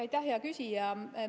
Aitäh, hea küsija!